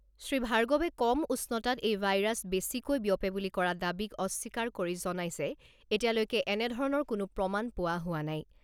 শ্ৰীভাৰ্গবে কম উষ্ণতাত এই ভাইৰাছ বেছিকৈ বিয়পে বুলি কৰা দাবীক অস্বীকাৰ কৰি জনাই যে এতিয়ালৈকে এনেধৰণৰ কোনো প্ৰমাণ পোৱা হোৱা নাই।